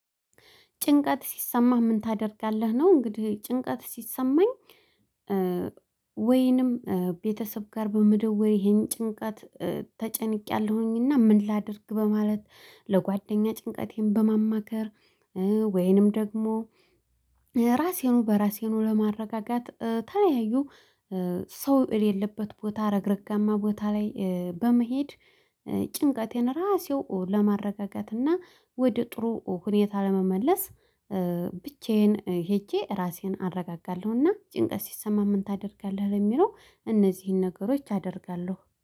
ጭንቀት ሲሰማህ ምን ታደርጋለህ? ነው እንግዲህ ጭንቀት ሲሰማኝ ወይንም ቤተሰብ ጋር በመደወል ይሄን ጭንቀት ተጨንቄያለሁኝና ምን ላድርግ በማለት ለጓደኛ ጭንቀቴን በማማከር ወይንም ደግሞ ራሴኑ በራሴኑ ለማረጋጋት የተለያዩ ሰው የሌለበት ቦታ ረግረጋማ ቦታ ላይ በመሄድ ጭንቀቴን ራሴው ለማረጋገት እና ወደ ጥሩ ሁኔታ ለመመለስ ብቻዬን ሄጄ ራሴን አረጋጋለሁና ጭንቀት ሲሰማም ምን ታደርጋለህ የሚለው እነዚህን ነገሮች አደርጋለሁ።